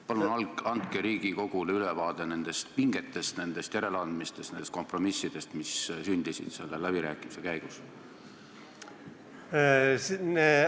Palun andke Riigikogule ülevaade nendest pingetest, nendest järeleandmistest, nendest kompromissidest, mis sündisid nende läbirääkimiste käigus!